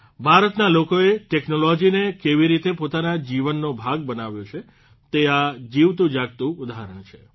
ભારતના લોકોએ ટેકનોલોજીને કેવી રીતે પોતાના જીવનનો ભાગ બનાવ્યો છે તે આ જીવતુંજાગતું ઉદાહરણ છે